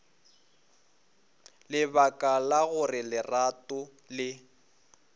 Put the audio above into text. lebaka la gore lerato le